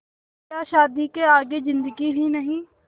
क्या शादी के आगे ज़िन्दगी ही नहीं